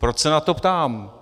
Proč se na to ptám?